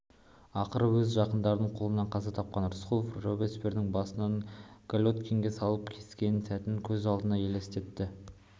ақыры өз жақындары қолынан қаза тапқаны рысқұлов робеспьердің басын гильотинге салып кескен сәтін көз алдына елестетті